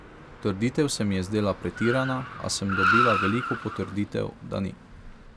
Trditev se mi je zdela pretirana, a sem dobila veliko potrditev, da ni.